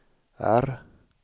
R